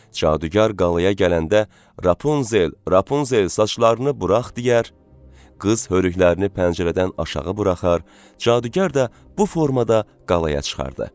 Cadugar qalaya gələndə: "Rapunzel, Rapunzel, saçlarını burax!" deyər, qız hörüklərini pəncərədən aşağı buraxar, cadugar da bu formada qalaya çıxardı.